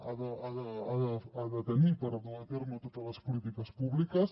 ha de tenir per dur a terme totes les polítiques públiques